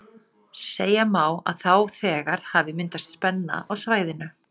Horft í suðvestur og sér í Lagarfljót til hægri.